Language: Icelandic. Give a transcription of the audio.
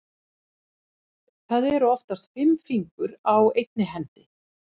Það eru oftast fimm fingur á einni hendi.